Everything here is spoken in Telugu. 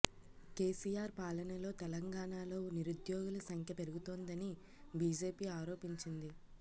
కేసీఆర్ పాలనలో తెలంగాణలో నిరుద్యోగుల సంఖ్య పెరుగుతోందని బీజేపీ ఆరోపించింది